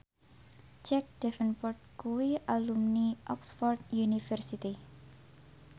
Jack Davenport kuwi alumni Oxford university